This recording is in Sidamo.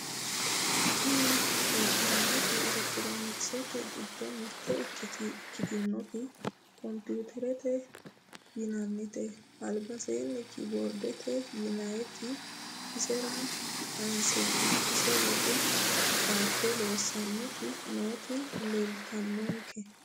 tini la'neemoti elektiroonikisete giddo mite ikitiyooti komputerete yinayite albaseenni key boardete yinayiiti isera qanseenna ise leddo dhaade loossanoti nooti leeltanonke